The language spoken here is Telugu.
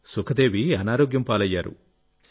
సుఖదేవి అనారోగ్యం పాలయ్యారు